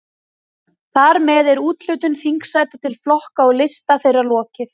Þar með er úthlutun þingsæta til flokka og lista þeirra lokið.